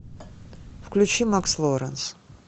включи макс лоренс